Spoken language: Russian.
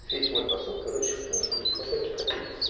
весь мой посыл короче в том что не хватает стабильность